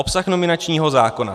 Obsah nominačního zákona.